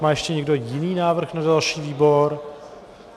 Má ještě někdo jiný návrh na další výbor?